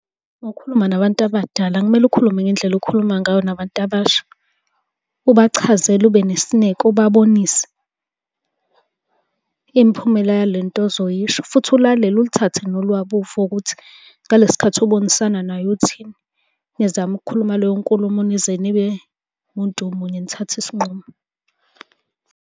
Uma ukhuluma nabantu abadala akumele ukhulume ngendlela okhuluma ngayo nabantu abasha. Ubachazele, ube nesineke, ubabonise, imiphumela yale nto ozoyisho, futhi ulalele ulithathe nolwabo uvo ukuthi ngalesi sikhathi ubonisana naye uthini. Nizame ukukhuluma leyo nkulumo, nize nibe muntu munye nithathe isinqumo.